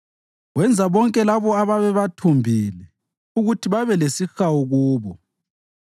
Wenza bonke labo ababebathumbile ukuthi babelesihawu kubo.